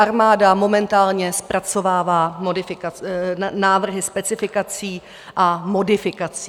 Armáda momentálně zpracovává návrhy specifikací a modifikací.